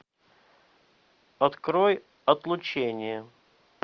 открой отлучение